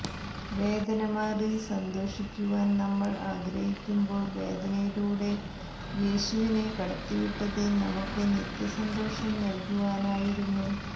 വേദന മാറി സന്തോഷിക്കുവാൻ നമ്മൾ ആഗ്രഹിക്കുമ്പോൾ വേദനയിലൂടെ യേശുവിനെ കടത്തിവിട്ടത് നമുക്ക് നിത്യസന്തോഷം നല്കുവാനായിരുന്നു